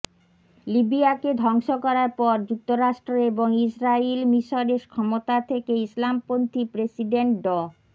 লিবিয়াকে ধ্বংস করার পর যুক্তরাষ্ট্র এবং ইসরাইল মিসরের ক্ষমতা থেকে ইসলামপন্থি প্রেসিডেন্ট ড